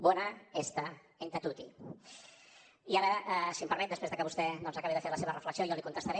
bona hèsta entà toti i ara si em permet després de que vostè doncs acabi de fer la seva reflexió jo li contestaré